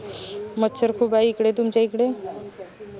मच्छर खूप आय इकडे तुमच्या इकडे